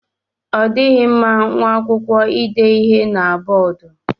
Ọ dịghị mma nwa akwụkwọ ide ihe na bọọdu.